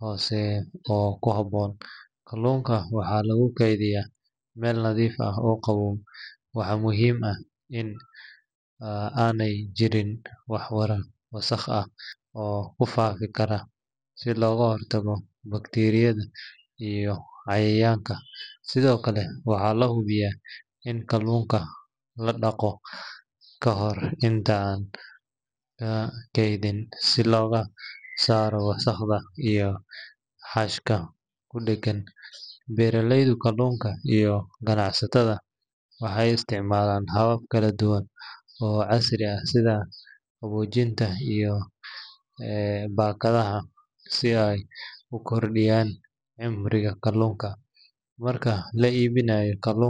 hoose oo ku habboon. Kaluunka waxaa lagu kaydiyaa meel nadiif ah oo qabow, waxaana muhiim ah in aanay jirin wax wasakh ah oo ku faafi kara si looga hortago bakteeriyada iyo cayayaanka. Sidoo kale, waxaa la hubiyaa in kaluunka la dhaqo ka hor inta aan la kaydin si looga saaro wasakhda iyo xashka ku dheggan. Beeraleyda kaluunka iyo ganacsatada waxay isticmaalaan habab kala duwan oo casri ah sida qaboojinta iyo baakadaha si ay u kordhiyaan cimriga kaluunka. Marka la iibinayo kaluun.